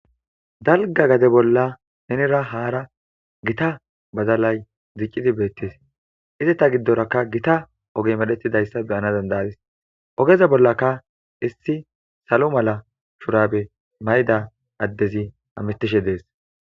Dalga gade bolla nenera haara gita badalay diccidi beettes. Izata giddorakka gita ogey medhetidayssa be'ana danda'ayis. Ogeza bollaka issi salo mala shurabe mayida addezi hamistishe dees.